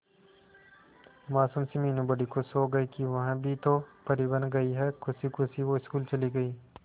मासूम सी मीनू बड़ी खुश हो गई कि वह भी तो परी बन गई है खुशी खुशी वो स्कूल चली गई